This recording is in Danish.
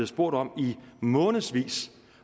spurgt om i månedsvis